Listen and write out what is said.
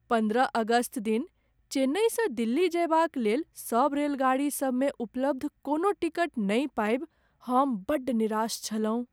पन्द्रह अगस्त दिन चेन्नइसँ दिल्ली जयबाक लेल सब रेलगाड़ी सबमे उपलब्ध कोनो टिकट नहि पाबि हम बड्ड निराश छलहुँ।